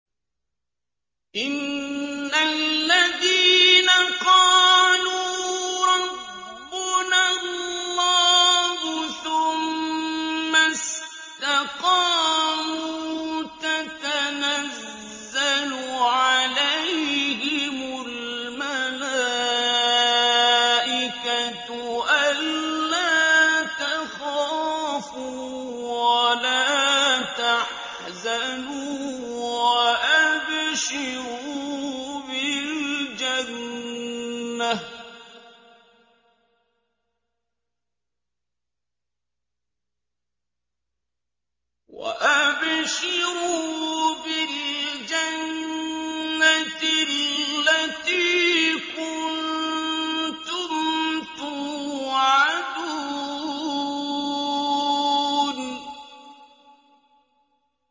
إِنَّ الَّذِينَ قَالُوا رَبُّنَا اللَّهُ ثُمَّ اسْتَقَامُوا تَتَنَزَّلُ عَلَيْهِمُ الْمَلَائِكَةُ أَلَّا تَخَافُوا وَلَا تَحْزَنُوا وَأَبْشِرُوا بِالْجَنَّةِ الَّتِي كُنتُمْ تُوعَدُونَ